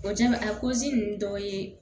O jaabi a ninnu dɔw ye